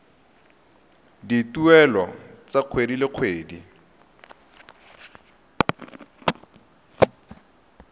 dituelo tsa kgwedi le kgwedi